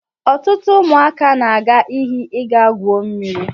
Ọtụtụ ụmụaka na-aga iyi ịga gwuo mmiri.